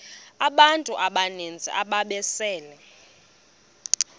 abantu abaninzi ababesele